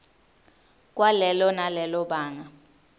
kwalelo nalelo banga